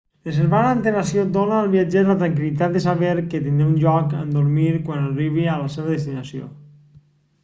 reservar amb antelació dona al viatger la tranquil·litat de saber que tindrà un lloc on dormir quan arribi a la seva destinació